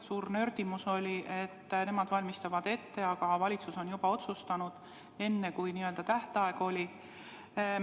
Suur nördimus oli, et nemad valmistavad ette, aga valitsus on juba otsustanud enne, kui tähtaeg käes.